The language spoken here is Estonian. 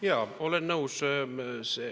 Jaa, olen nõus.